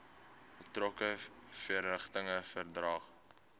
betrokke verrigtinge verdaag